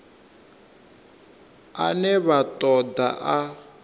ane vha ṱo ḓa a